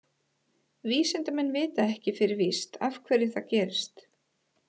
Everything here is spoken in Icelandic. Vísindamenn vita ekki fyrir víst af hverju það gerist.